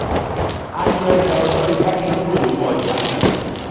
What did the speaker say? a yọ ọjà ọjọ́ iwájú kúrò nínú ọjà.